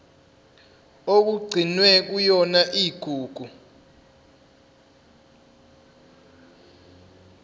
okugcinwe kuyona igugu